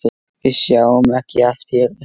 Við sáum ekki allt fyrir.